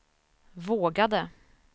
vågade